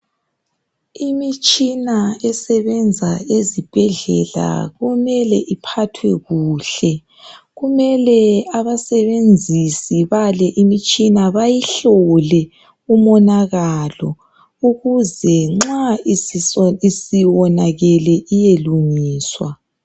Imitshina esebenza ezibhedlela kumele iphathwe kuhle. Kumele abasebenzisi bale imitshina bayihlole umonakalo ukuze nxa isiwonakale iye lungiswa.